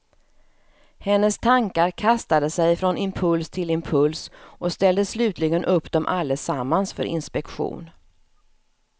Hennes tankar kastade sig från impuls till impuls och ställde slutligen upp dem allesammans för inspektion.